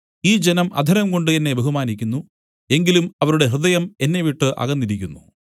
ഈ ജനം അധരം കൊണ്ട് എന്നെ ബഹുമാനിക്കുന്നു എങ്കിലും അവരുടെ ഹൃദയം എന്നെവിട്ടു അകന്നിരിക്കുന്നു